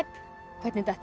hvernig datt